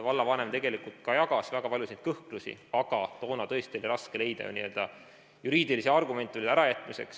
Vallavanem jagas väga paljusid kõhklusi, aga toona oli tõesti raske leida ju juriidilisi argumente ärajätmiseks.